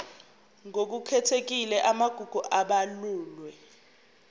ngokukhethekile amagugu abalulwe